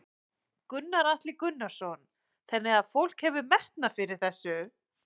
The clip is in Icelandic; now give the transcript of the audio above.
Gunnar Atli Gunnarsson: Þannig að fólk hefur metnað fyrir þessu?